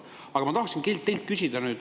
Aga ma tahan teilt küsida.